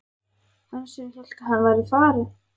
Hann sem hélt að hann væri farinn!